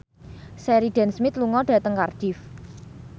Sheridan Smith lunga dhateng Cardiff